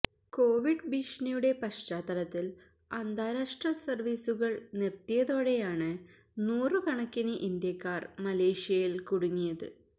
Covid ഭീഷണിയുടെ പശ്ചാത്തലത്തില് അന്താരാഷ്ട്ര സര്വീസുകള് നിര്ത്തിയയോടെയാണ് നൂറുകണക്കിന് ഇന്ത്യക്കാര് മലേഷ്യയില് കുടുങ്ങിയത്